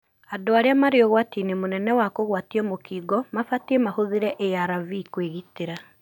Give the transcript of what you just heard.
Andũ arĩa marĩ ũgwatinĩ mũnene wa kũgwatio mũkingo mabatie mahũthĩre ARV kwĩgitĩra.